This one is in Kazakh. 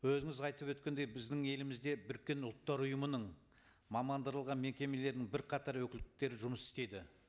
өзіңіз айтып өткендей біздің елімізде біріккен ұлттар ұйымының мамандырылған мекемелерінің бірқатар өкілдіктері жұмыс істейді